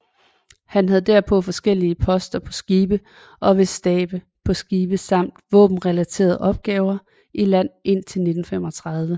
Han havde derpå forskellige poster på skibe og ved stabe på skibe samt våbenrelaterede opgaver i land indtil 1935